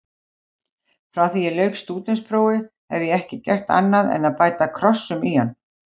Frá því ég lauk stúdentsprófi hef ég ekki gert annað en bæta krossum í hann.